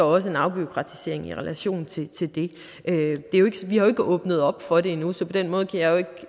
også en afbureaukratisering i relation til det vi har ikke åbnet op for det endnu så på den måde kan jeg jo ikke